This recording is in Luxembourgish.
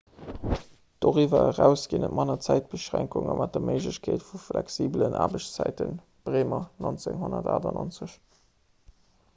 doriwwer eraus ginn et manner zäitbeschränkunge mat der méiglechkeet vu flexibelen aarbechtszäiten. bremer 1998